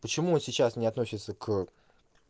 почему он сейчас не относится к